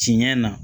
Tiɲɛ na